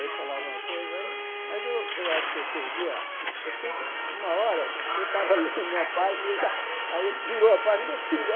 Ele falava uma coisa aí, mas eu eu acho que eu perdi a... Eu sei que, numa hora, eu estava lendo uma página e eu já aí ele virou a página meu filho é.